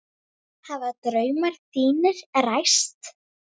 Hafa draumar þínir ræst?